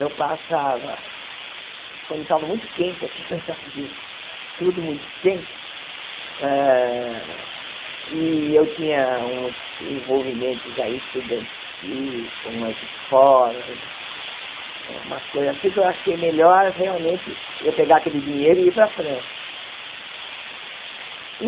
Eu passava, quando estava muito quente aqui no Brasil, tudo muito quente hã, e eu tinha uns envolvimentos aí estudantis com umas escolas, umas coisas assim, que eu achei melhor realmente eu pegar aquele dinheiro e ir para a França.